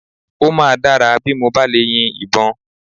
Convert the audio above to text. Ó máa dára bí mo bá lè yin ìbọn